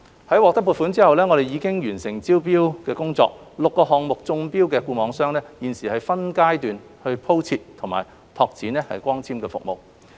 在獲得撥款後，我們已完成招標工作 ，6 個項目中標的固網商現正分階段鋪設和拓展光纖網絡。